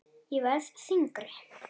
Ég verð þyngri.